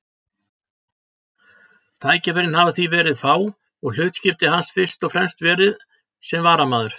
Tækifærin hafa því verið fá og hlutskipti hans fyrst og fremst verið sem varamaður.